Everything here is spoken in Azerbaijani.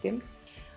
Görün nə qəşəngdir.